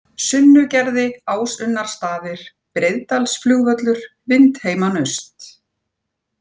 Sunnugerði, Ásunnarstaðir, Breiðdalsflugvöllur, Vindheimanaust